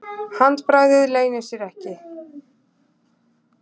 Handbragðið leynir sér ekki.